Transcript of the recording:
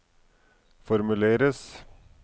formuleres